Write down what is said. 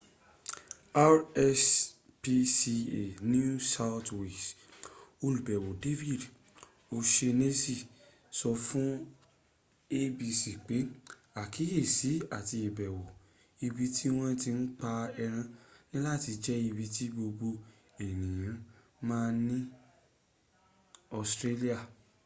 rspca new south wales olùbẹ̀wò david o'shanessy sọ fún abc pé àkíyèsí àti ìbẹ̀wò ibi ti wọ́n ti n pa ẹran niláti jẹ́ ibi tí gbogbo ènìyàn ms ní australia